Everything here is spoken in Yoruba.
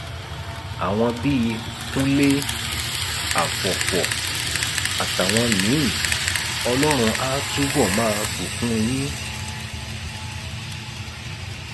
àwọn bíi kúnlé afọfọ àtàwọn míín ọlọrun á túbọ máa bùkún yín